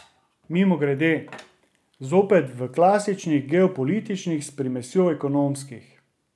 Mimogrede, zopet v klasičnih geopolitičnih s primesjo ekonomskih.